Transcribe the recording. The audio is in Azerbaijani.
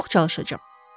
Çox çalışacağam.